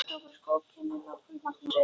Fljótlega tókust góð kynni með okkur Magnúsi.